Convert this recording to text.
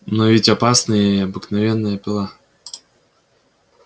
но ведь опасна и обыкновенная пила